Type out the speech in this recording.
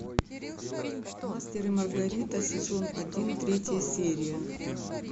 мастер и маргарита сезон один третья серия